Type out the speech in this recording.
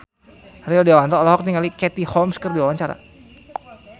Rio Dewanto olohok ningali Katie Holmes keur diwawancara